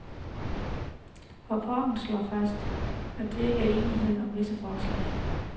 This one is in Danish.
Rapporten slår fast, at der ikke er enighed om visse forslag.